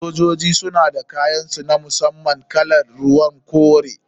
Sojoji suna da kayan su na musamman kalar ruwan kore.